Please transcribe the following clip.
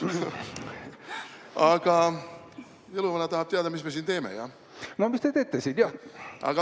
Aga jõuluvana tahab teada, mis me siin teeme, jah?